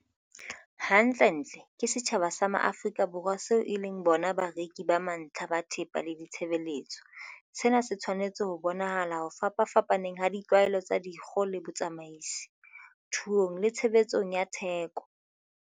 Hantlentle, ke setjhaba sa Maafrika Borwa seo e leng bona bareki ba mantlha ba thepa le ditshebeletso. Sena se tshwanetse ho bonahala ho fapapfapaneng ha ditlwaelo tsa kgiro le botsamaisi, thuong le tshebetsong ya theko.